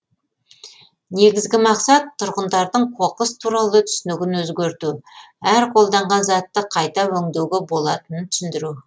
негізгі мақсат тұрғындардың қоқыс туралы түсінігін өзгерту әр қолданған затты қайта өңдеуге болатынын түсіндіру